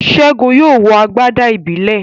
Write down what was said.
Segun yóò wọ agbada ìbílẹ̀.